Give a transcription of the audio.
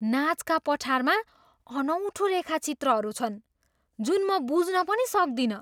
Nazca पठारमा अनौठो रेखाचित्रहरू छन् जुन म बुझ्न पनि सक्दिनँ!